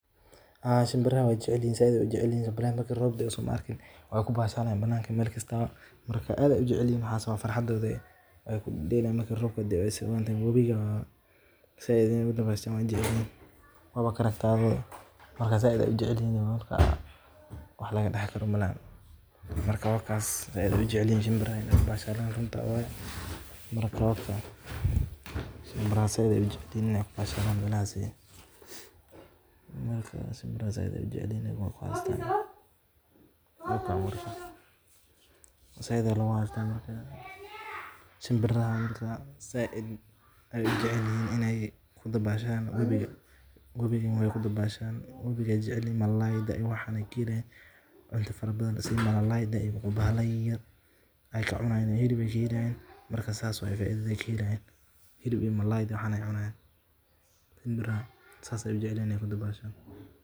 shinbirahayga waxey jecel yihin in ay ku dabaashtaan webiga